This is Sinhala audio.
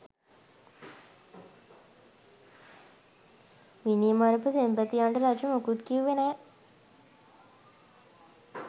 මිනි මරපු සෙන්පතියන්ට රජු මුකුත් කිව්වේ නෑ